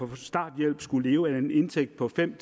på starthjælp skulle leve af en indtægt på fem